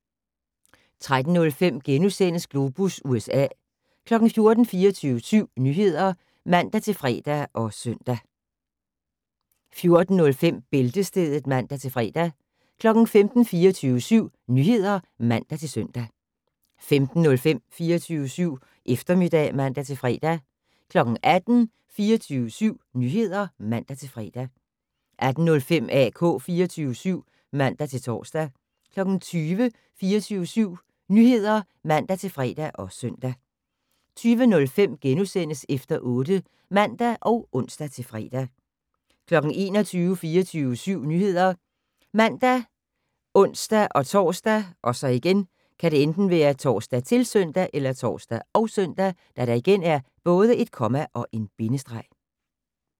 13:05: Globus USA * 14:00: 24syv Nyheder (man-fre og søn) 14:05: Bæltestedet (man-fre) 15:00: 24syv Nyheder (man-søn) 15:05: 24syv Eftermiddag (man-fre) 18:00: 24syv Nyheder (man-fre) 18:05: AK 24syv (man-tor) 20:00: 24syv Nyheder (man-fre og søn) 20:05: Efter 8 *(man og ons-fre) 21:00: 24syv Nyheder ( man, ons-tor, -søn)